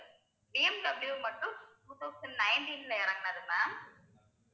BMW மட்டும் two thousand nineteen ல இறங்கினது ma'am